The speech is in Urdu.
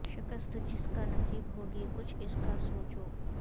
شکست جس کا نصیب ہوگی کچھ اس کا سوچو